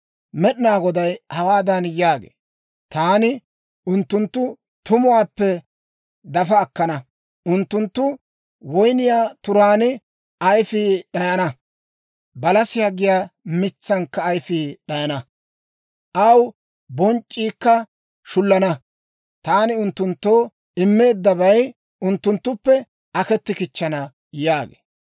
Med'inaa Goday hawaadan yaagee; «Taani unttunttu tumuwaappe dafa akkana. Unttunttu woyniyaa turaan ayifii d'ayana; balasiyaa giyaa mitsankka ayifii d'ayana. Aw bonc'c'iikka shullana; taani unttunttoo immeeddabay unttunttuppe aketti kichchana» yaagee.